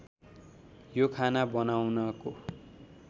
यो खाना बनाउनको